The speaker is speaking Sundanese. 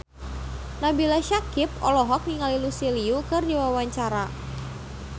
Nabila Syakieb olohok ningali Lucy Liu keur diwawancara